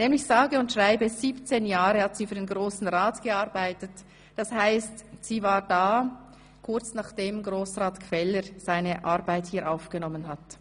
Sie hat nämlich sage und schreibe 17 Jahre für den Grossen Rat gearbeitet, das heisst, sie war da, kurz nachdem Grossrat Gfeller seine Arbeit hier aufgenommen hatte.